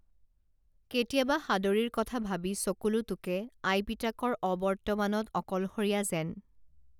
কেতিয়াবা সাদৰীৰ কথা ভাবি চকুলো টোকে আই পিতাকৰ অবৰ্তমানত অকলশৰীয়া যেন